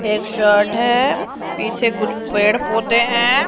एक शर्ट है पीछे कुछ पेड़ पौधे हैं।